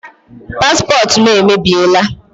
Paspọtụ m emebiela.